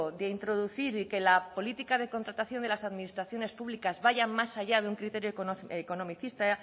de introducir y que la política de contratación de las administraciones públicas vayan más allá de un criterio economicista